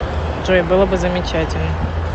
джой было бы замечательно